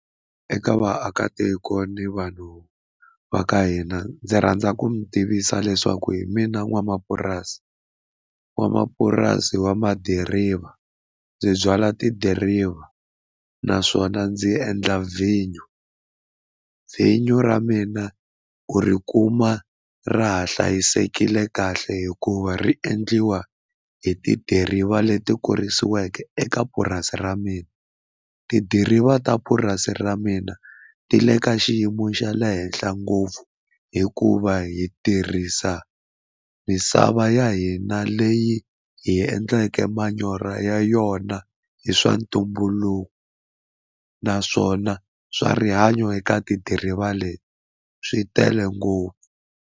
Eka vaakatiko ni vanhu va ka hina ndzi rhandza ku mi tivisa leswaku hi mina n'wamapurasi n'wamapurasi wa madiriva ndzi byala tidiriva naswona ndzi endla vinyo vinyo ra mina u ri kuma ra ha hlayisekile kahle hikuva ri endliwa hi tidiriva leti kulisiweke eka purasi ra mina tidiriva ta purasi ra mina ti le ka xiyimo xa le henhla ngopfu hikuva hi tirhisa misava ya hina leyi hi endleke manyoro ya yona hi swa ntumbuluko naswona swa rihanyo eka tidiriva leti swi tele ngopfu.